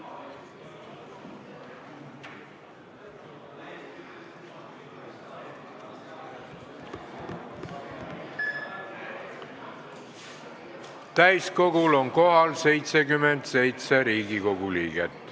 Kohaloleku kontroll Täiskogul on kohal 77 Riigikogu liiget.